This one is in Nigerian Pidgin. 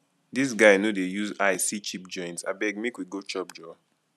dis guy no dey use eye see cheap joint abeg make we go chop joor